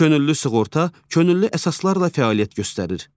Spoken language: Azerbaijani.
Könüllü sığorta könüllü əsaslarla fəaliyyət göstərir.